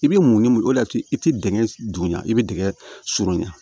I bɛ mun ni mun de y'a to i tɛ dingɛ dugun i bɛ dingɛ surunya